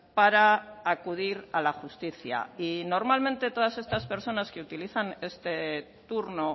para acudir a la justicia y normalmente todas estas personas que utilizan este turno